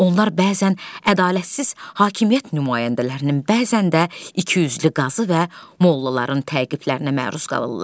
Onlar bəzən ədalətsiz hakimiyyət nümayəndələrinin, bəzən də ikiyüzlü qazı və mollaların təqiblərinə məruz qalırlar.